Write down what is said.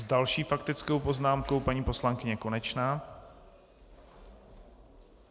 S další faktickou poznámkou paní poslankyně Konečná.